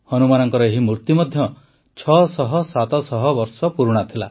ହନୁମାନଙ୍କର ଏହି ମୂର୍ତ୍ତି ମଧ୍ୟ ୬୦୦୭୦୦ ବର୍ଷ ପୁରୁଣା ଥିଲା